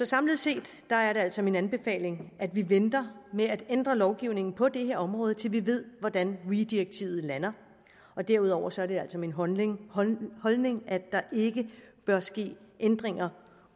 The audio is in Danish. samlet set er det altså min anbefaling at vi venter med at ændre lovgivningen på det her område til vi ved hvordan weee direktivet lander derudover er det altså min holdning holdning at der ikke bør ske ændringer